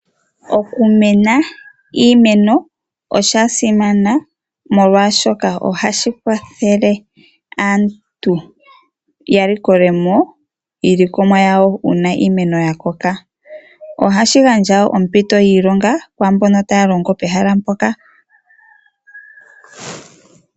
Okumuna iimeno osha simana molwaashoka ohashi kwathele aantu yalikole mo iilikolomwa yawo uuna iimeno yakoka. Ohashi gandja wo ompito yiilonga kwaambono taya longo pehala mpoka.